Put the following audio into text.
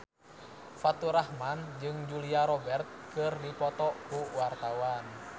Faturrahman jeung Julia Robert keur dipoto ku wartawan